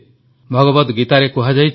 ଭଗବଦ୍ ଗୀତାରେ କୁହାଯାଇଛି